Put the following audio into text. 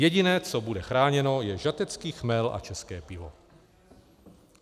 Jediné, co bude chráněno, je žatecký chmel a české pivo.